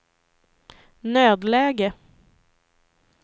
nödläge